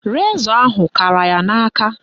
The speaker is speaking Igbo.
Rezọ ahụ kara ya n'aka